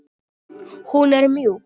Hún er mjúk.